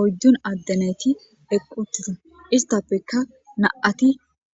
oyddun addenayti eqquttiza istappekka na7ati